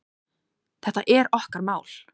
Þetta er okkar mál.